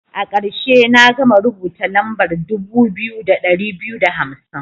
A karshe, na gama rubuta lambar dubu biyu da ɗari biyu da hamsin.